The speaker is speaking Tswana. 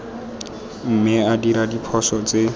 mme a dira diphoso tse